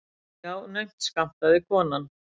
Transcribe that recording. Já, naumt skammtaði konan.